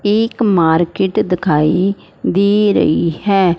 एक मार्केट दिखाई दे रही है।